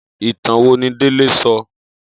Itàn wó ni Dele sò?